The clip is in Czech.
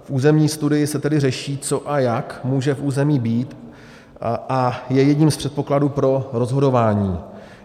V územní studii se tedy řeší, co a jak může v území být, a je jedním z předpokladů pro rozhodování.